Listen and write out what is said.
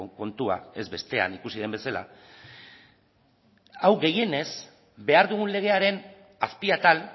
kontua ez bestean ikusi den bezala hau gehienez behar dugun legearen azpi atal